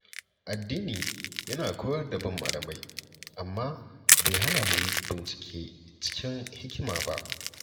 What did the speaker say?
Addini yana koyar da bin malamai, amma bai hana mu yi bincike cikin hikima ba.